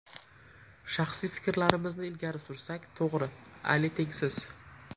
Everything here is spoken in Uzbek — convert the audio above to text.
Shaxsiy fikrlarimizni ilgari sursak, to‘g‘ri, Ali tengsiz.